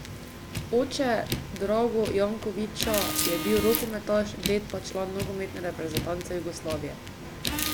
Oče Drago Jankovića je bil rokometaš, ded pa član nogometne reprezentance Jugoslavije.